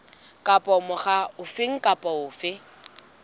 kapa mokga ofe kapa ofe